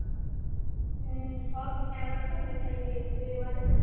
হম সব award তো মিঠাই পেয়েছিলো এবারে